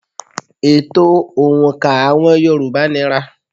Ètò òǹkà àwọn yorùbá nira.